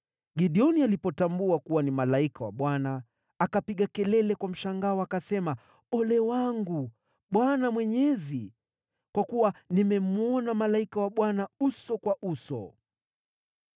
Gideoni alipotambua kuwa ni malaika wa Bwana , akapiga kelele kwa mshangao, akasema, “Ole wangu, Bwana Mwenyezi! Kwa kuwa nimemwona malaika wa Bwana uso kwa uso!”